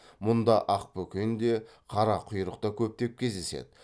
мұнда ақбөкен де қарақұйрық та көптеп кездеседі